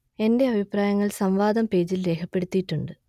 എന്റെ അഭിപ്രായങ്ങൾ സംവാദം പേജിൽ രേഖപ്പെടുത്തിയിട്ടുണ്ട്